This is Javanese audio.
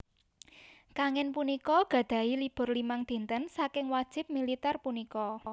Kangin punika gadhahi libur limang dinten saking wajib militer punika